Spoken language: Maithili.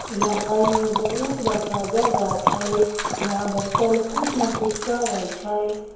यहां एगो बहुत बड़का जगह छै। यहां बच्चा लोग कुछ ना कुछ करे छै।